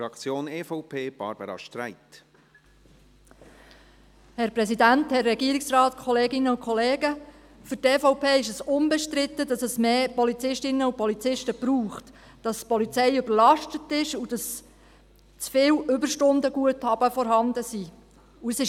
Für die EVP ist unbestritten, dass es mehr Polizistinnen und Polizisten braucht, dass die Polizei überlastet ist und dass zu viele Überstundenguthaben vorhanden sind.